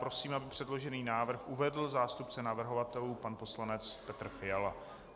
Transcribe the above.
Prosím, aby předložený návrh uvedl zástupce navrhovatelů pan poslanec Petr Fiala.